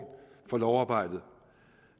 for lovarbejdet